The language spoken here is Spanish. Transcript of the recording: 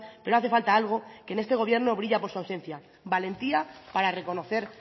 pero hace falta algo que en este gobierno brilla por su ausencia valentía para reconocer